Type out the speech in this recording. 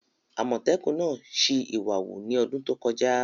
Àmọ́tẹ́kùn náà sì ìwà wù ní ọdún tó kọjá